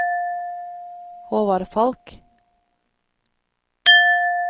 Håvard Falch